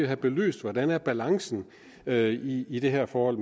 have belyst hvordan balancen er i i det her forhold